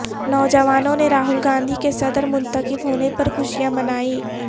نوجوانوں نے راہل گاندھی کے صدر منتخب ہونے پر خوشیاں منائیں